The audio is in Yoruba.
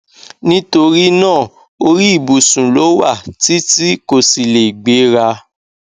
nítorí náà orí ìbùsùn ló wà tí tí kò sì lè gbéra